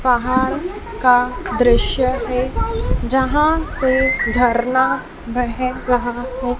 पहाड़ का दृश्य है जहाँ से झरना बह रहा है।